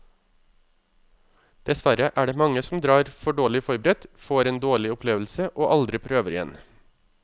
Dessverre er det mange som drar for dårlig forberedt, får en dårlig opplevelse og aldri prøver igjen.